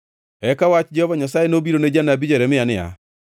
Eka wach Jehova Nyasaye nobiro ne janabi Jeremia niya: